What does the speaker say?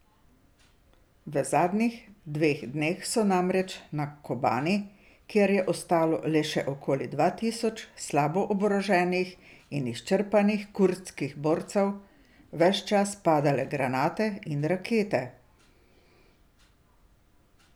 V zadnjih dveh dneh so namreč na Kobani, kjer je ostalo le še okoli dva tisoč slabo oboroženih in izčrpanih kurdskih borcev, ves čas padale granate in rakete.